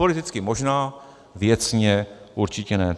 Politicky možná, věcně určitě ne.